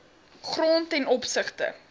grond ten opsigte